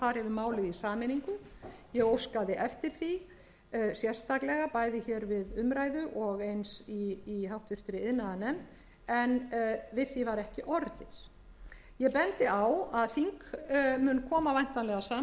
í sameiningu ég óskaði eftir því sérstaklega bæði hér við umræðu og eins í háttvirtri iðnaðarnefnd en við því var ekki orðið ég bendi á að þing mun koma væntanlega saman tólfta janúar á nýju